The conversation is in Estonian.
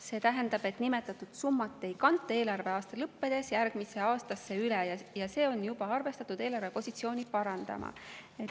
See tähendab, et nimetatud summat ei kanta eelarveaasta lõppedes järgmisse aastasse üle, ja on juba arvestatud, et see parandab eelarve positsiooni.